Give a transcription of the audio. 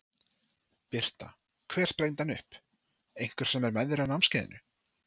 Birta: Hver sprengdi hann upp, einhver sem er með þér á námskeiðinu?